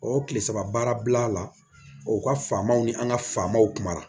O kile saba baara la o ka faamaw ni an ka famaw kumara